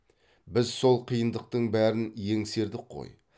біз сол қиындықтың бәрін еңсердік қой